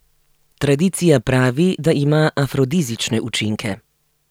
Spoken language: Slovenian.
Tradicija pravi, da ima afrodizične učinke.